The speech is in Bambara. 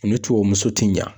U ni tubabumuso ti ɲa .